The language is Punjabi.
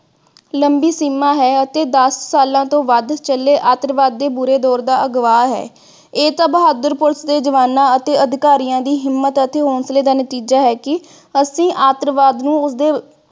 ਲੰਬੀ ਸੀਮਾ ਹੈ ਅਤੇ ਦਸ ਸਾਲਾਂ ਤੋਂ ਵੱਧ ਚਲੇ ਆਤੰਕਵਾਦ ਦੇ ਬੁਰੇ ਦੌਰ ਦਾ ਗਵਾਹ ਹੈ। ਇਹ ਸਬ ਬਹਾਦਰ police ਦੇ ਜਵਾਨਾਂ ਅਤੇ ਅਧਿਕਾਰੀਆਂ ਦੀ ਹਿੰਮਤ ਅਤੇ ਹੌਸਲੇ ਦਾ ਨਤੀਜਾ ਹੈ ਕਿ ਅਸੀਂ ਆਤੰਕਵਾਦ ਨੂੰ ਉਸਦੇ